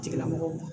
Tigilamɔgɔw